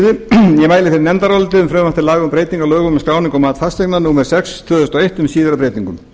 breytingu á lögum um skráningu og mat fasteigna númer sex tvö þúsund og eitt með síðari breytingum